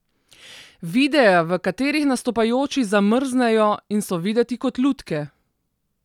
Videe, v katerih nastopajoči zamrznejo in so videti kot lutke.